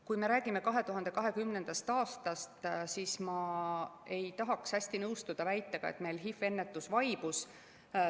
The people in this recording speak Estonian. Kui me räägime 2020. aastast, siis ma ei tahaks hästi nõustuda väitega, nagu meil HIV‑i ennetus oleks vaibunud.